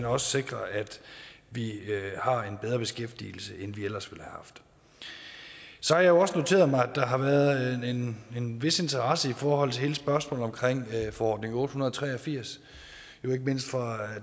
også sikrer at vi har en bedre beskæftigelse end vi ellers ville haft så har jeg også noteret mig at der har været en en vis interesse i forhold til hele spørgsmålet om forordning otte hundrede og tre og firs ikke mindst fra